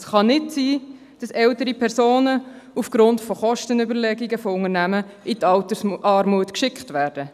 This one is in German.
Es kann nicht sein, dass ältere Personen von Unternehmen aufgrund von Kostenüberlegungen in die Altersarmut geschickt werden.